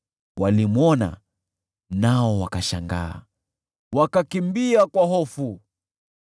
walimwona nao wakashangaa, wakakimbia kwa hofu.